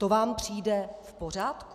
To vám přijde v pořádku?